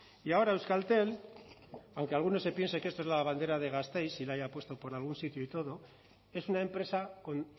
y ahora euskaltel aunque alguno se piense que esto es la bandera de gasteiz y la haya puesto por algún sitio y todo es una empresa con